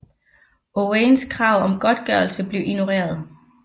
Owains krav om godtgørelse blev ignoreret